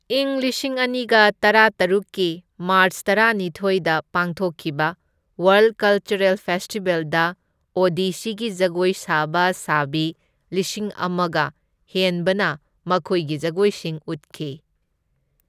ꯏꯪ ꯂꯤꯁꯤꯡ ꯑꯅꯤꯒ ꯇꯔꯥꯇꯔꯨꯛꯀꯤ ꯃꯥꯔꯆ ꯇꯔꯥꯅꯤꯊꯣꯢꯗ ꯄꯥꯡꯊꯣꯛꯈꯤꯕ ꯋꯥꯔꯜꯗ ꯀꯜꯆꯔꯦꯜ ꯐꯦꯁꯇꯤꯕꯦꯜꯗ ꯑꯣꯗꯤꯁꯤꯒꯤ ꯖꯒꯣꯏ ꯁꯥꯕ ꯁꯥꯕꯤ ꯂꯤꯁꯤꯡ ꯑꯃꯒ ꯍꯦꯟꯕꯅ ꯃꯈꯣꯏꯒꯤ ꯖꯒꯣꯏꯁꯤꯡ ꯎꯠꯈꯤ꯫